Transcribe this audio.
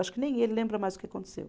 Acho que nem ele lembra mais o que aconteceu.